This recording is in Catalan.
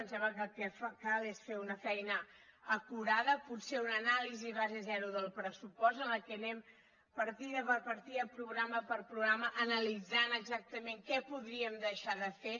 ens sembla que el que cal és fer una feina acurada potser una anàlisi base zero del pressupost en la qual anem partida per partida programa per programa analitzant exactament què podríem deixar de fer